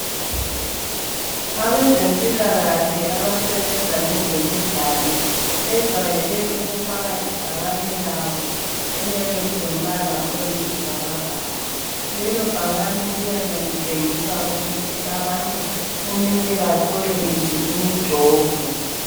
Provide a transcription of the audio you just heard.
Abezempilakahle abasebenza ngezemidlalo ,bejwayele ukufaka ibhakane labo eliyabe lilombala oyisibhakabhaka. Lelo bhakani liyabe litshengisa ukuthi abantu kumele bathole yiphi imijovo.